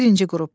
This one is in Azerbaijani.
Birinci qrup.